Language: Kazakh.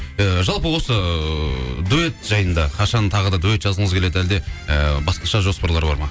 і жалпы осы дуэт жайында қашан тағы да дуэт жазғыңыз келеді әлде ы басқаша жоспарлар бар ма